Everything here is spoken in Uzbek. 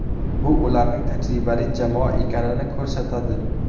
Bu ularning tajribali jamoa ekanini ko‘rsatadi.